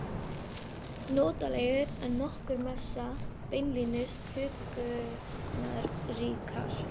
Notalegri en nokkur messa, beinlínis huggunarríkar.